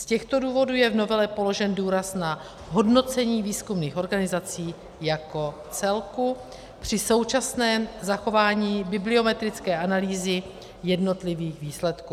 Z těchto důvodů je v novele položen důraz na hodnocení výzkumných organizací jako celku při současném zachování bibliometrické analýzy jednotlivých výsledků.